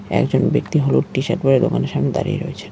একজন ব্যক্তি হলুদ টিশার্ট পরে দোকানের সামনে দাঁড়িয়ে রয়েছে।